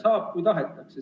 Saab, kui tahetakse.